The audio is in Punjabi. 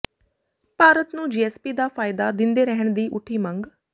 ਭਾਰਤ ਨੂੰ ਜੀਐੱਸਪੀ ਦਾ ਫਾਇਦਾ ਦਿੰਦੇ ਰਹਿਣ ਦੀ ਉੱਠੀ ਮੰਗ